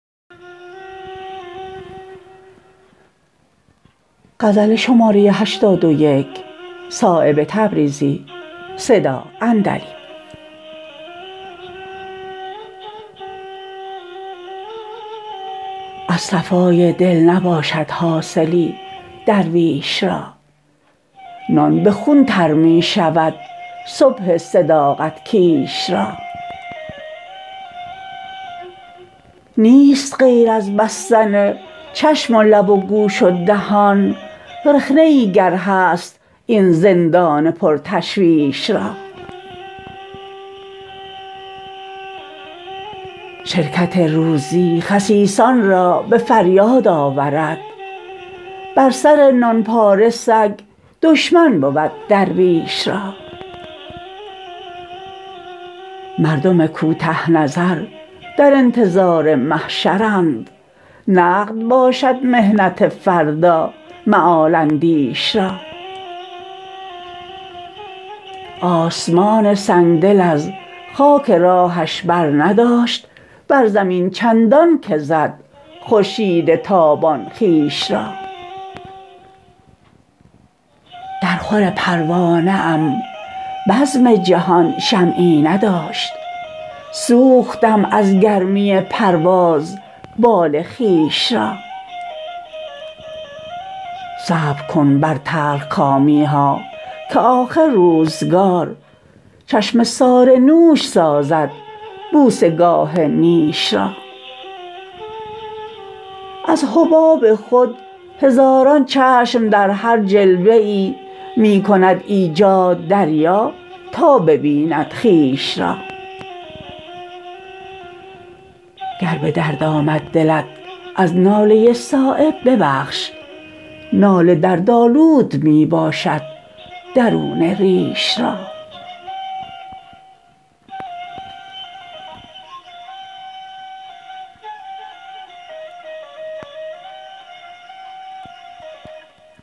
از صفای دل نباشد حاصلی درویش را نان به خون تر می شود صبح صداقت کیش را نیست غیر از بستن چشم و لب و گوش و دهان رخنه ای گر هست این زندان پر تشویش را شرکت روزی خسیسان را به فریاد آورد بر سر نان پاره سگ دشمن بود درویش را مردم کوته نظر در انتظار محشرند نقد باشد محنت فردا مآل اندیش را آسمان سنگدل از خاک راهش برنداشت بر زمین چندان که زد خورشید تابان خویش را در خور پروانه ام بزم جهان شمعی نداشت سوختم از گرمی پرواز بال خویش را صبر کن بر تلخکامی ها که آخر روزگار چشمه سار نوش سازد بوسه گاه نیش را از حباب خود هزاران چشم در هر جلوه ای می کند ایجاد دریا تا ببیند خویش را گر به درد آمد دلت از ناله صایب ببخش ناله دردآلود می باشد درون ریش را